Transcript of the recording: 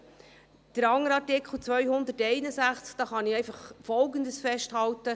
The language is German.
Zum anderen Artikel 261 kann ich einfach Folgendes festhalten: